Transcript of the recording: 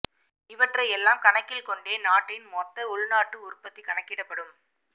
இவற்றை எல்லாம் கணக்கில் கொண்டே நாட்டின் மொத்த உள்நாட்டு உற்பத்தி கணக்கிடப்படும்